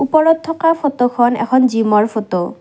ওপৰত থকা ফটোখন এখন জিমৰ ফটো ।